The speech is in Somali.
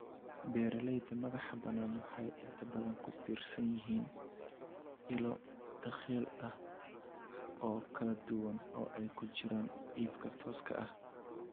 Beeralayda madaxa banaan waxay inta badan ku tiirsan yihiin ilo dakhli oo kala duwan, oo ay ku jiraan iibka tooska ah.